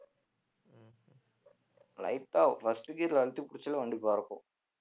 light ஆ first gear ல அழுத்தி பிடிச்சாலே வண்டி பறக்கும்